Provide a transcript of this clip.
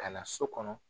Ka na so kɔnɔ